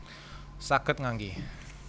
Saged ngangge